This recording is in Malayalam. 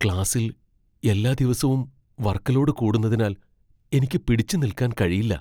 ക്ലാസ്സിൽ എല്ലാ ദിവസവും വർക്ക് ലോഡ് കൂടുന്നതിനാൽ എനിക്ക് പിടിച്ചുനിൽക്കാൻ കഴിയില്ല.